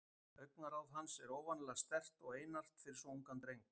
Augnaráð hans er óvanalega sterkt og einart fyrir svo ungan dreng.